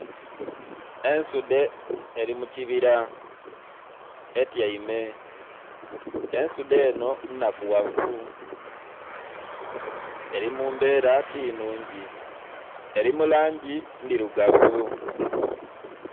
Ensudhe eri mukibira etyaime, ensudhe eno nnhakughavu eri mumbera tinhungi eri mulangi ndhirugavu.